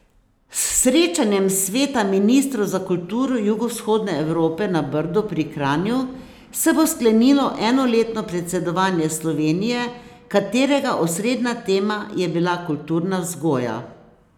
S srečanjem sveta ministrov za kulturo Jugovzhodne Evrope na Brdu pri Kranju se bo sklenilo enoletno predsedovanje Slovenije, katerega osrednja tema je bila kulturna vzgoja.